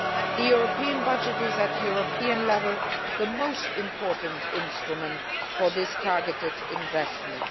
The European budget is at European level the most important instrument for this targeted investment.